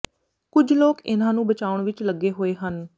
ਕੁਝ ਲੋਕ ਇਨ੍ਹਾਂ ਨੂੰ ਬਚਾਉਣ ਵਿੱਚ ਲੱਗੇ ਹੋਏ ਹਨ